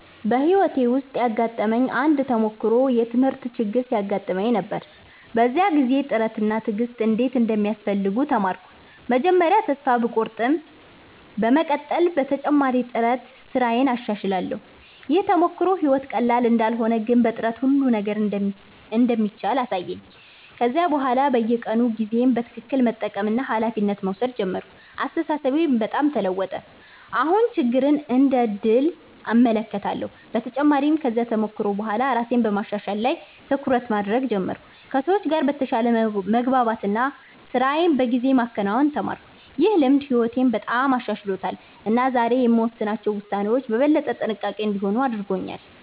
በሕይወቴ ውስጥ ያጋጠመኝ አንድ ተሞክሮ የትምህርት ችግር ሲያጋጥመኝ ነበር። በዚያ ጊዜ ጥረት እና ትዕግሥት እንዴት እንደሚያስፈልጉ ተማርኩ። መጀመሪያ ተስፋ ቢቆርጠኝም በመቀጠል በተጨማሪ ጥረት ስራዬን አሻሽላለሁ። ይህ ተሞክሮ ሕይወት ቀላል እንዳልሆነ ግን በጥረት ሁሉ ነገር እንደሚቻል አሳየኝ። ከዚያ በኋላ በየቀኑ ጊዜዬን በትክክል መጠቀምና ኃላፊነት መውሰድ ጀመርኩ። አስተሳሰቤም በጣም ተለወጠ፤ አሁን ችግርን እንደ ዕድል እመለከታለሁ። በተጨማሪም ከዚያ ተሞክሮ በኋላ ራሴን በማሻሻል ላይ ትኩረት ማድረግ ጀመርኩ፣ ከሰዎች ጋር በተሻለ መግባባት እና ስራዬን በጊዜ ማከናወን ተማርኩ። ይህ ልምድ ሕይወቴን በጣም አሻሽሎታል እና ዛሬ የምወስናቸው ውሳኔዎች በበለጠ ጥንቃቄ እንዲሆኑ አድርጎኛል።